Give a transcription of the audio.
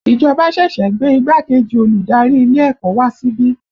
Ìjọba ṣẹ̀ṣẹ̀ gbé igbákejì olùdarí ilé ẹ̀kọ́ wá síbí